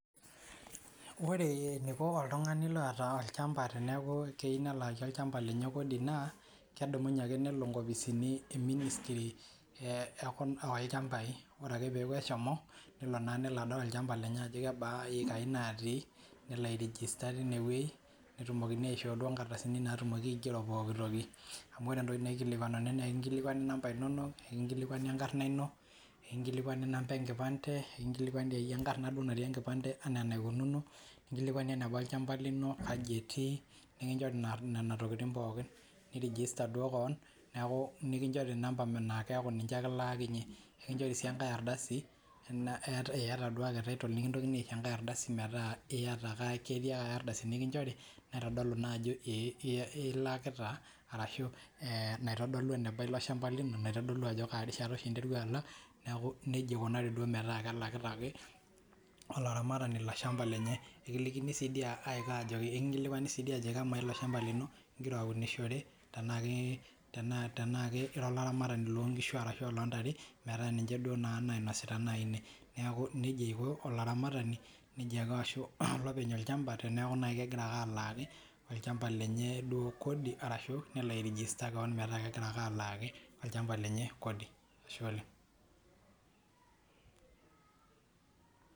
Ore eneiko oltung'ani loota olchampa teneaku keiyiu nelaaki olchampa lenye kodii naa kedumunye ake nelo inkopisini ee ministry oolchampai ore ake peeku eshomo nelo naa nelo adol olchampa lenye ajo kebaa iyekaai naati nelo ai register teinewei netupokini aishoo duo inkardasini naatumoki aigero pooki toki amu ore entoki naikilikuanuni naa ekinkilikuani nampa inonok nikinkilikuani enkarna ino nekinkilikuani nampa ee nkipante ekingilikuani taakeiye enkarna duo natii enkipante enaa enaikununo nikinkilikuani enebaa olchampa lino kaji etii nekinchori nena tokiting' pookin nii register duoo koon neeku nikinchori nampa naa keaku ninche ake ilaakinyie nikinchori sii enkae ardasi eeyata duo ake title nekintokini aisho enkae ardasi meeta iyata ake ketii enkae ardasi nikinchori naitodolu naa ajo ilakita arashu naitodolu eneba ilo shampa lino naitodolu ajo kaa rishata oshi interua alak neeku nejia eikunari metaa kelakita ake olaramatani ilo shampa lenye ikilikini sii dii aiko ajeki ekinkilikuani sii dii ajoki kemaa ilo shampa lino ingira ounishore tenaa ira olaramarani loonkishu arashu aa oloontare metaa ninche duo naa nainosita nayii ine neeku nejia eiko olaramatani nejia ake aashu elo openy olchampa teneeku nayii kegira ake alaaki olchampa lenye duo kodi arashu nelo ao register koon metaa kegira ake alaaki olchampa lenye kodi, ashe oleng'.